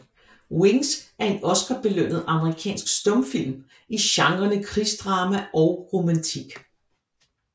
Wings er en Oscarbelønnet amerikansk stumfilm i genrerne krigsdrama og romantik